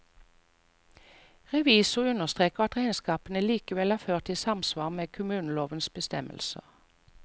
Revisor understreker at regnskapene likevel er ført i samsvar med kommunelovens bestemmelser.